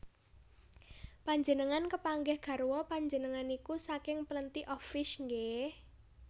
Panjenengan kepanggih garwa panjenengan niku saking Plenty of Fish nggeh?